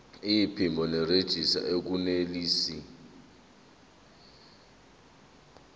iphimbo nerejista akunelisi